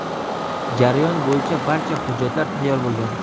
Jarayon bo‘yicha barcha hujjatlar tayyor bo‘lgan.